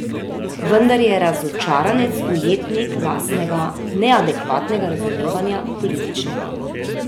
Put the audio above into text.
Vendar je razočaranec ujetnik lastnega neadekvatnega razumevanja političnega.